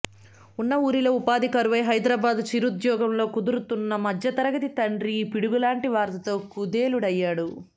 ఉన్న ఊరిలో ఉపాధి కరువై హైదరాబాద్లో చిరుద్యోగంలో కుదురుకున్న మధ్యతరగతి తండ్రి ఈ పిడుగులాంటి వార్తతో కుదేలయ్యాడు